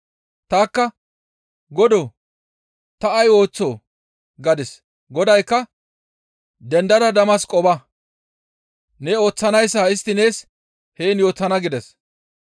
Tanikka, ‹Godoo, ta ay ooththoo?› gadis; Godaykka, ‹Dendada Damasqo ba; ne ooththanayssa istti nees heen yootana› gides.